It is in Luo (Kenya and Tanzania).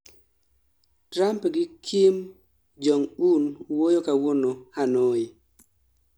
trump gi kim jong un wuoyo kawuono, hanoi